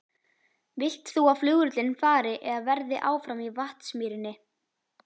Vilt þú að flugvöllurinn fari eða verði áfram í Vatnsmýrinni?